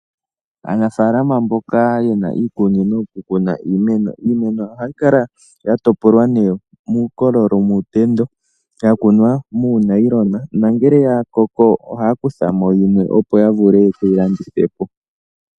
Aanafaalama mboka yena iikunino muna iimeno, iimeno ohayi kala ya topolwa muukolo muutendo, ya kunwa muunayilona. Nongele ya koko ohaya kutha mo yimwe opo ya vule ye keyi landithepo.